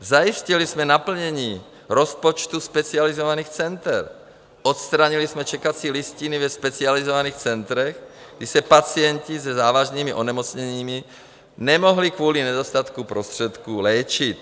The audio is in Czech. Zajistili jsme naplnění rozpočtu specializovaných center, odstranili jsme čekací listiny ve specializovaných centrech, kdy se pacienti se závažnými onemocněními nemohli kvůli nedostatku prostředků léčit.